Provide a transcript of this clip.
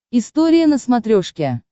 история на смотрешке